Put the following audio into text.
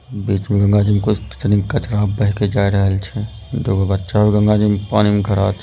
बीच में गंगा जी में कुछ कचरा बह के जा रहल छे दूगो बच्चा गंगा जी में पानी में खड़ा छे।